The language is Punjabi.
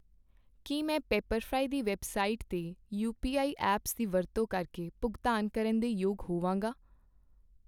ਕੀ ਮੈਂ ਪੀਪਰਫਰਾਈ ਦੀ ਵੈੱਬਸਾਈਟ 'ਤੇ ਯੂਪੀਆਈ ਐਪਸ ਦੀ ਵਰਤੋਂ ਕਰਕੇ ਭੁਗਤਾਨ ਕਰਨ ਦੇ ਯੋਗ ਹੋਵਾਂਗਾ?